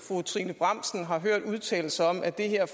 fru trine bramsen har hørt udtale sig om at det her